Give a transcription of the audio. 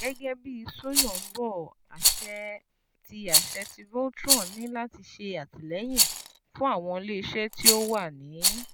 Gẹgẹ bi Soyombo, aṣẹ ti aṣẹ ti Voltron ni lati ṣe atilẹyin fun awọn ile-iṣẹ ti o wa ni